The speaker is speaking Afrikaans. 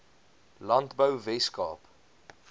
landbou wes kaap